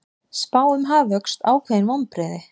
Spá um hagvöxt ákveðin vonbrigði